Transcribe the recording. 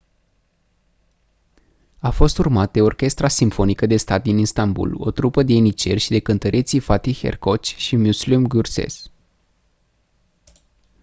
a fost urmat de orchestra simfonică de stat din istanbul o trupă de ieniceri și de cântăreții fatih erkoç și müslüm gürses